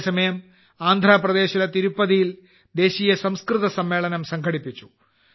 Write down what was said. അതേ സമയം ആന്ധ്രാപ്രദേശിലെ തിരുപ്പതിയിൽ ദേശീയ സംസ്കൃത സമ്മേളനം സംഘടിപ്പിച്ചു